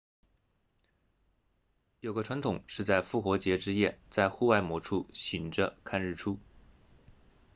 有个传统是在复活节之夜在户外某处醒着看日出